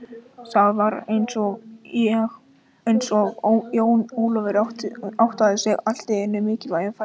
Það var eins og Jón Ólafur áttaði sig allt í einu á mikilvægi ferðarinnar.